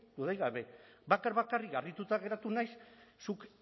dudarik gabe bakar bakarrik harrituta geratu naiz zuk